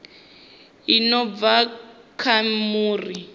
i no bva kha muri